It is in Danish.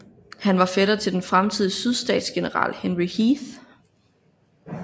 Han var fætter til den fremtidige sydstatsgeneral Henry Heth